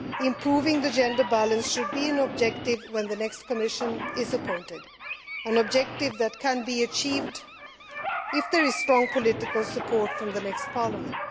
Improving the gender balance should be an objective when the next Commission is appointed an objective that can be achieved if there is strong political support from the next Parliament.